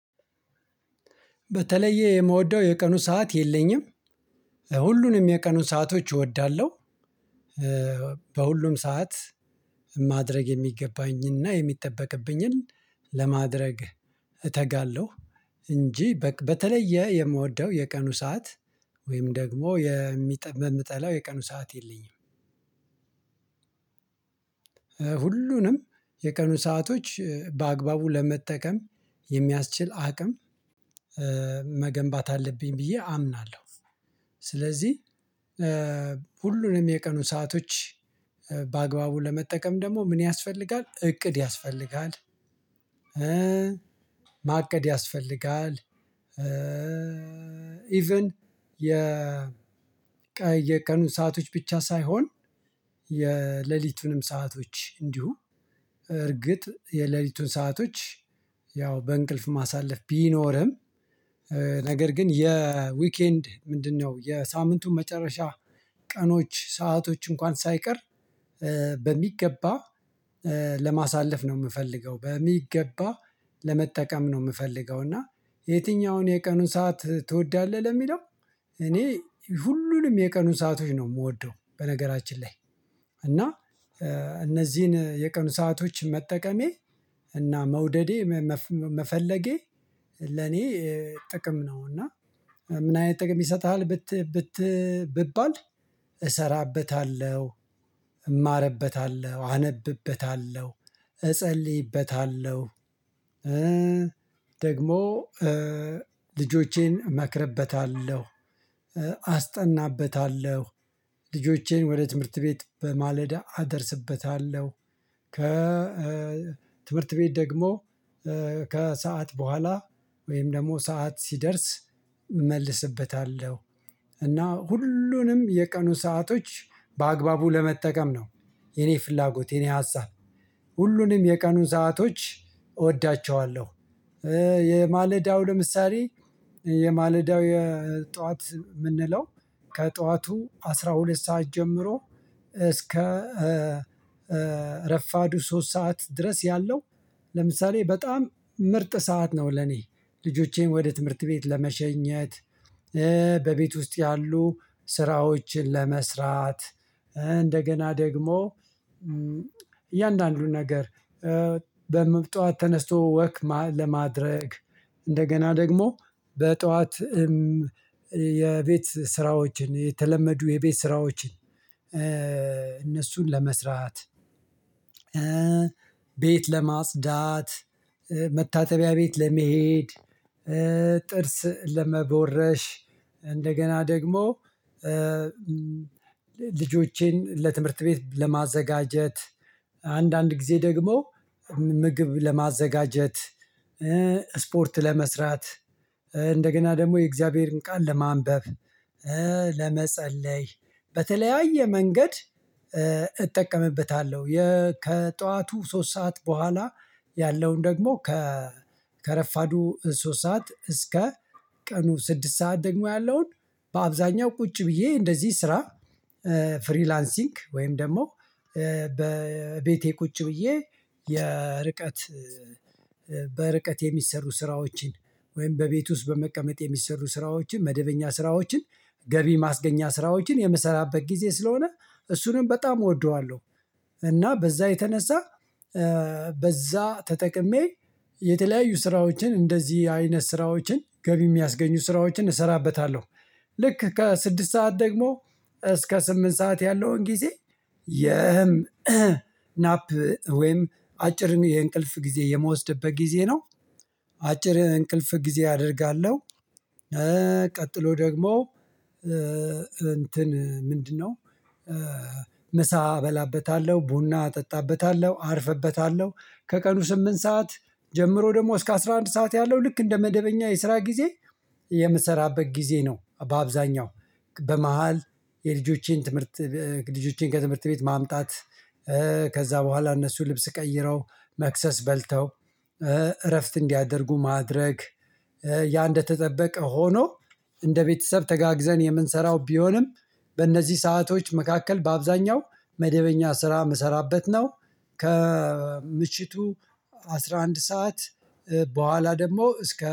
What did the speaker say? በተለየ የምወደው የቀኑ ሰዓት የለኝም። ሁሉንም የቀኑ ሰአቶች እወዳለሁ። በሁሉም ሰዓት ማድረግ የሚገባኝን እና የሚጠበቅብኝን ለማድረግ እተጋለሁ። እንጂ በተለየ የምወደው የቀኑ ሰዓት ወይም ደግሞ የምጠላው የቀኑ ሰዓት የለኝም። ሁሉንም የቀኑ ሰአቶች በአግባቡ ለመጠቀም የሚያስችል አቅም መገንባት አለብኝ ብዬ አምናለሁ። ስለዚህ ሁሉንም የቀኑ ሰአቶች በአግባቡ ለመጠቀም ደግሞ ምን ያስፈልጋል እቅድ ያስፈልጋል። ማቀድ ያስፈልጋል። ኢቭን የቀኑ ሰአቶች ብቻ ሳይሆን የሌሊቱንም ሰአቶች እንዲሁ እርግጥ የሌሊቱን ሰአቶች ያው በእንቅልፍ ማሳለፍ ቢኖርም ነገር ግን የዊኬንድ ምንድነው? የሳምንቱን መጨረሻ ቀኖች ሰአቶች እንኳን ሳይቀር በሚገባ ለማሳለፍ ነው የምፈልገው በሚገባ ለመጠቀም ነው የምፈልገው። እና የትኛውን የቀኑን ሰዓት ትወዳለህ ለሚለው? እኔ ሁሉንም የቀኑ ሰአቶች ነው የምወደው። በነገራችን ላይ እና እነዚህን የቀኑ ሰአቶች መጠቀሜ እና መውደዴ መፈለጌ ለኔ ጥቅም ነው። እና ምን አይነት ጥቅም ይሰጥሃል? ብባል እሰራበታለሁ እማርበታለሁ አነብበታለሁ እጸልይበታለሁ። ደግሞ ልጆቼን እመክርበታለሁ አስጠናበታለሁ ልጆቼን ወደ ትምህርት ቤት በማለዳ አደርስበታለሁ። ከ ትምህርት ቤት ደግሞ ከሰአት በኋላ ወይም ደግሞ ሰዓት ሲደርስ እመልስበታለሁ። እና ሁሉንም የቀኑ ሰአቶች በአግባቡ ለመጠቀም ነው የኔ ፍላጎት የኔ ሀሳብ ሁሉንም የቀኑን ሰአቶች እወዳቸዋለሁ። የማለዳው ለምሳሌ የማለዳው የጧት የምንለው ከጠዋቱ አስራ ሁለት ሰዓት ጀምሮ እስከ ረፋዱ ሶስት ሰዓት ድረስ ያለው ለምሳሌ በጣም ምርጥ ሰዓት ነው። ለኔ ልጆቼን ወደ ትምህርት ቤት ለመሸኘት በቤት ውስጥ ያሉ ስራዎችን ለመስራት እንደገና ደግሞ እያንዳንዱን ነገር በምብጧት ተነስቶ ወክ ለማድረግ እንደገና ደግሞ በጠዋት የቤት ስራዎችን የተለመዱ የቤት ስራዎችን እነሱን ለመስራት ቤት ለማጽዳት መታጠቢያ ቤት ለመሄድ ጥርስ ለመቦረሽ እንደገና ደግሞ ልጆቼን ለትምህርት ቤት ለማዘጋጀት አንዳንድ ጊዜ ደግሞ ምግብ ለማዘጋጀት ስፖርት ለመስራት እንደገና ደግሞ የእግዚአብሔርን ቃል ለማንበብ ለመጸለይ በተለያየ መንገድ እጠቀምበታለሁ። ከጠዋቱ ሶስት ሰዓት በኋላ ያለውን ደግሞ ከረፋዱ ሶስት ሰዓት እስከ ቀኑ ስድስት ሰዓት ደግሞ ያለውን በአብዛኛው ቁጭ ብዬ እንደዚህ ስራ ፍሪላንሲንግ ወይም ደግሞ በቤቴ ቁጭ ብዬ የርቀት በርቀት የሚሰሩ ስራዎችን ወይም በቤቱ ውስጥ በመቀመጥ የሚሰሩ ስራዎችን መደበኛ ስራዎችን ገቢ ማስገኛ ስራዎችን የምሰራበት ጊዜ ስለሆነ እሱንም በጣም እወደዋለሁ። እና በዛ የተነሳ በዛ ተጠቅሜ የተለያዩ ስራዎችን እንደዚህ አይነት ስራዎችን ገቢ የሚያስገኙ ስራዎችን እሰራበታለሁ። ልክ ከስድስት ሰዓት ደግሞ እስከ ስምንት ሰዓት ያለውን ጊዜ የናፕ ወይም አጭር የእንቅልፍ ጊዜ የምወስድበት ጊዜ ነው። አጭር እንቅልፍ ጊዜ አደርጋለሁ። ቀጥሎ ደግሞ እንትን ምንድነው? ምሳ እበላበታለሁ ቡና እጠጣበታለሁ አርፍበታለሁ ከቀኑ ስምንት ሰዓት ጀምሮ ደግሞ እስከ አስራ አንድ ሰዓት ያለው ልክ እንደ መደበኛ የስራ ጊዜ የምሰራበት ጊዜ ነው። በአብዛኛው በመሃል የልጆቼን ትምህርት ልጆቼን ከትምህርት ቤት ማምጣት ከዛ በኋላ እነሱ ልብስ ቀይረው መክሰስ በልተው እረፍት እንዲያደርጉ ማድረግ ያ እንደተጠበቀ ሆኖ እንደ ቤተሰብ ተጋግዘን የምንሰራው ቢሆንም በእነዚህ ሰአቶች መካከል በአብዛኛው መደበኛ ስራ የምሰራበት ነው። ከምችቱ አስራ አንድ ሰዓት በኋላ ደግሞ እስከ